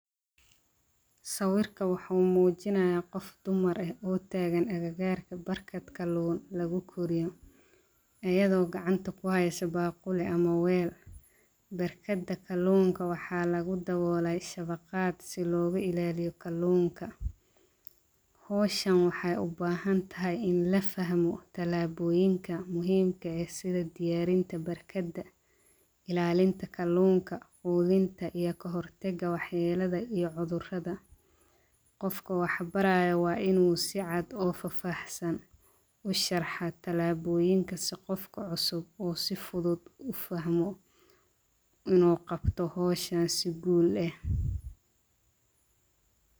Sawirka waxaa muujinaya qof dumar ah oo taagan agagaarka barkaad kaloon lagu koriyay, iyadoo gacanta ku hayso baquli ama weyl. Barkada kaloonka waxaa lagu dawooleey shafaqaad si looga ilaaliyo kaloonka. Hooshan waxay u baahan tahay in la fahmo talaabooyinka muhiimka ah sida diyaarinta barkada, ilaalinta kaloonka, quudinta iyo kahortega waxeelada iyo cudurada. Qofka waxaa baraa inuu si cad u fafsan u sharaxaa tallaabooyinka si qofka cusub oo si fudud u fahmo inoo qabto hooshaan si guul leh.